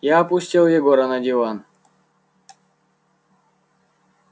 я опустил егора на диван